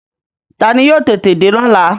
Taani yóò tètè dé lọ́la?